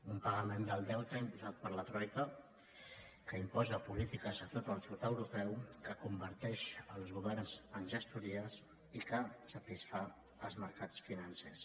un pagament del deute imposat per la troica que imposa polítiques a tot el sud europeu que converteix els governs en gestories i que satisfà els mercats financers